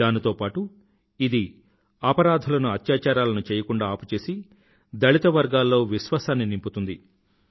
దానితో పాటు ఇది అపరాధులను అత్యాచారాలను చెయ్యకుండా ఆపుచేసి దళిత వర్గాల్లో విశ్వాసాన్ని నింపుతుంది